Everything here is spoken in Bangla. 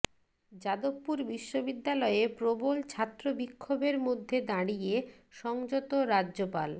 যাদবপুর বিশ্ববিদ্যালয়ে প্রবল ছাত্র বিক্ষোভের মধ্যে দাঁড়িয়ে সংযত রাজ্যপাল